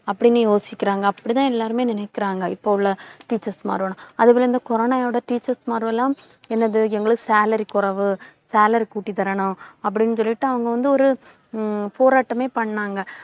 அப்படின்னு யோசிக்கிறாங்க. அப்படிதான், எல்லாருமே நினைக்கிறாங்க. இப்ப உள்ள teachers மார்களும். அதுபோல இந்த corona வோட teachers மார்கல்லாம் என்னது எங்களுக்கு salary குறைவு, salary கூட்டி தரணும். அப்படின்னு சொல்லிட்டு அவங்க வந்து ஒரு ஹம் போராட்டமே பண்ணாங்க.